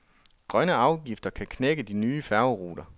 Grønne afgifter kan knække de nye færgeruter.